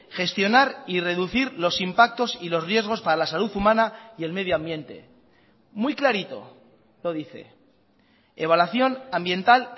gestionar y reducir los impactos y los riesgos para la salud humana y el medio ambiente muy clarito lo dice evaluación ambiental